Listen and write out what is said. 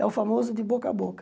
É o famoso de boca a boca.